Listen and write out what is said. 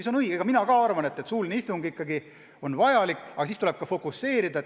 See on õige, mina ka arvan, et suuline istung ikkagi on vajalik, aga tegevus tuleb fokuseerida.